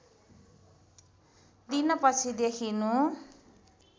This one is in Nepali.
दिन पछि देखिनु